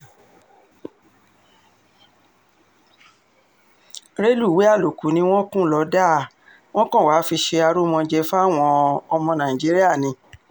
rẹlùwéè àlòkù ni wọ́n kùn lọ́dà um wọn kan wàá fi ṣe arúmọjẹ fáwọn um ọmọ nàìjíríà ni